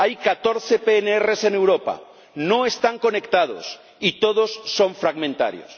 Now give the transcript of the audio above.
Hay catorce PNR en Europa, no están conectados y todos son fragmentarios.